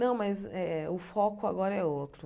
Não, mas eh o foco agora é outro.